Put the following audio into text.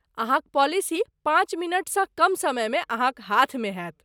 अहाँक पॉलिसी पाँच मिनटसँ कम समयमे अहाँक हाथमे होयत।